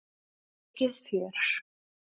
Mikið fjör!